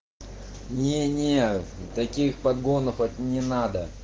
не не таких подгонов это не надо